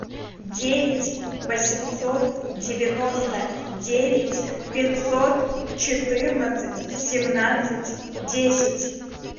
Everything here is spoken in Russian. девять восемьсот девяносто девять пятьсот четырнадцать семнадцать десять